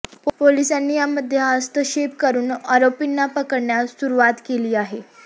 पोलिसांनी यामध्ये हस्तक्षेप करून आरोपींना पकडण्यास सुरूवात केली आहे